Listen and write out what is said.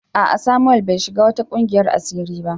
A'a Samuel bai shiga wata kungiyar asiri ba